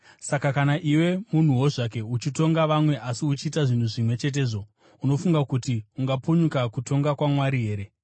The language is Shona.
Saka kana iwe munhuwo zvake uchitonga vamwe asi uchiita zvinhu zvimwe chetezvo, unofunga kuti ungapunyuka kutonga kwaMwari here?